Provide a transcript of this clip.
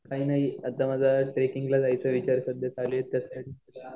आता माझा ट्रेकिंगला जायचा सध्या विचार चालू आहे